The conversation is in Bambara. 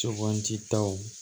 Suganditaw